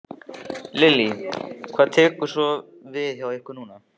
Lillý: Hvað tekur svo við hjá ykkur núna?